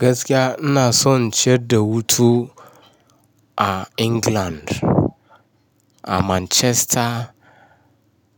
Gaskiya ina son ciar da hutu a England, a Manchester